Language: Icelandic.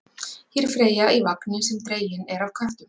Hér er Freyja í vagni sem dreginn er af köttum.